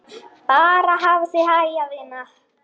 Bara hafa þig hæga, vina.